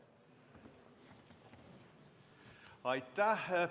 Aitäh!